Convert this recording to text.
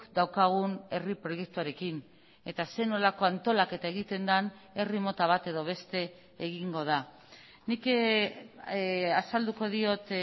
daukagun herri proiektuarekin eta zer nolako antolaketa egiten den herri mota bat edo beste egingo da nik azalduko diot